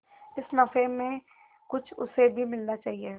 इस नफे में कुछ उसे भी मिलना चाहिए